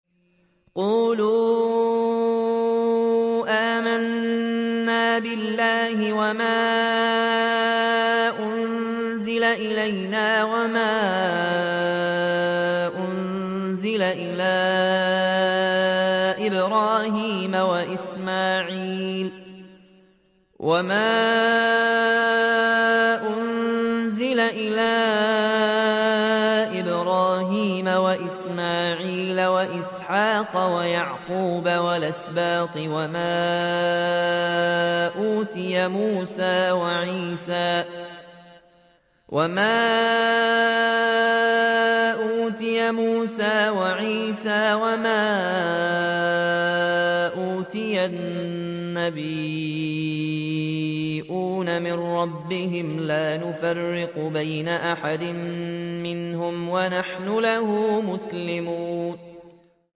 قُولُوا آمَنَّا بِاللَّهِ وَمَا أُنزِلَ إِلَيْنَا وَمَا أُنزِلَ إِلَىٰ إِبْرَاهِيمَ وَإِسْمَاعِيلَ وَإِسْحَاقَ وَيَعْقُوبَ وَالْأَسْبَاطِ وَمَا أُوتِيَ مُوسَىٰ وَعِيسَىٰ وَمَا أُوتِيَ النَّبِيُّونَ مِن رَّبِّهِمْ لَا نُفَرِّقُ بَيْنَ أَحَدٍ مِّنْهُمْ وَنَحْنُ لَهُ مُسْلِمُونَ